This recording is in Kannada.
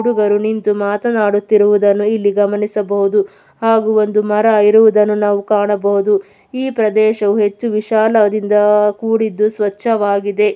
ಹುಡುಗರು ನಿಂತು ಮಾತನಾಡುತ್ತಿರುವುದನ್ನು ಇಲ್ಲಿ ಗಮನಿಸಬಹುದು ಹಾಗೂ ಒಂದು ಮರ ಇರುವುದನ್ನು ನಾವು ಕಾಣಬಹುದು. ಈ ಪ್ರದೇಶವು ಹೆಚ್ಚು ವಿಶಾಲದಿಂದ ಕೂಡಿದ್ದು ಸ್ವಚ್ಛವಾಗಿದೆ.